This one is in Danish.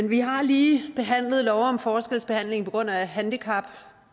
vi har lige behandlet lov om forskelsbehandling på grund af handicap